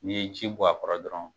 N'i ye ji bɔ a kɔrɔ dɔrɔn,